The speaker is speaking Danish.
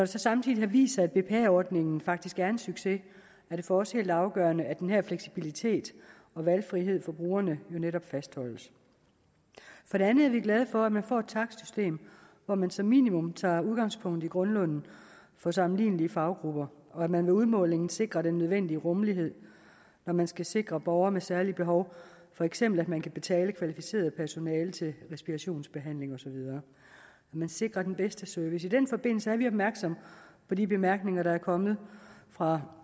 så samtidig har vist sig at bpa ordningen faktisk er en succes er det for os helt afgørende at den her fleksibilitet og valgfrihed for brugerne jo netop fastholdes for det andet er vi glade for at man får et takstsystem hvor man som minimum tager udgangspunkt i grundlønnen for sammenlignelige faggrupper og at man ved udmålingen sikrer den nødvendige rummelighed når man skal sikre borgere med særlige behov for eksempel at man kan betale kvalificeret personale til respirationsbehandling osv at man sikrer den bedste service i den forbindelse er vi opmærksomme på de bemærkninger der er kommet fra